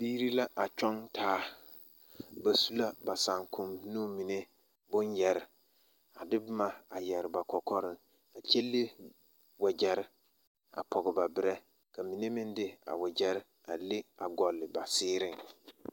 Biiri la a kyɔɡe taa ba su la ba sããkoŋ boma mine bonyɛre a de boma a yɛre ba kɔkɔreŋ a kyɛ le waɡyɛre a pɔɡe ba berɛ ka mine meŋ de a waɡyɛrɛ a leŋ ɡɔle ba seereŋ.